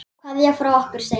Kveðja frá okkur Steina.